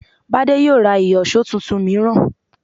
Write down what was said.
Bádé yóò ra ìyọ̀ṣó tuntun mìíràn